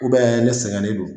U bɛ ne sɛgɛnnen don